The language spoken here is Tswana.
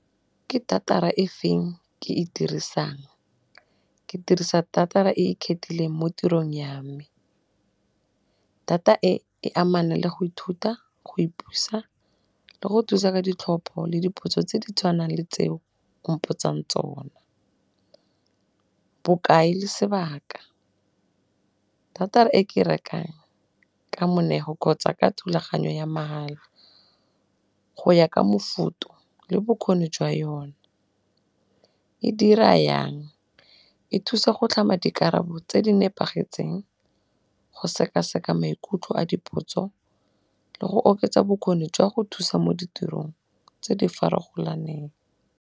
Ke data-ra e feng ke e dirisang?, ke dirisa data-ra e e khethileng mo tirong ya me, data e e amana le go ithuta, go ithuta, le go thusa ka ditlhopho le dipotso tse di tshwanang le tseo o mpotsang tsona. Bokae le sebaka, data e ke rekang ka moneelo kgotsa ka thulaganyo ya mahala go ya ka mofuto le bokgoni jwa yone. E dira yang?, e thusa go tlhama dikarabo tse di nepagetseng, go sekaseka maikutlo a dipotso, le go oketsa bokgoni jwa go thusa mo ditirong tse di farologaneng.